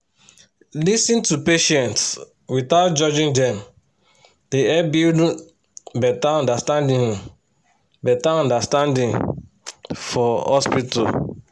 to lis ten to patients without judging dem dey help build um better understanding um better understanding for hospital